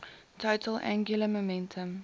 total angular momentum